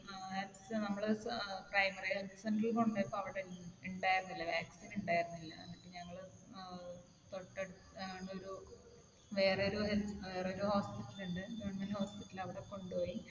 ആഹ് നമ്മൾ ഏർ primary health center ൽ കൊണ്ട് പോയപ്പോ അവിടെ ഉണ്ടായിരുന്നില്ല. vaccine ഉണ്ടായിരുന്നില്ല. എന്നിട്ട് ഞങ്ങൾ ഏർ തൊട്ടടുത്ത ഞങ്ങളുടെ ഒരു വേറെ ഒരു health വേറെ ഒരു hospital ഉണ്ട്. government hospital അവിടെ കൊണ്ട് പോയി.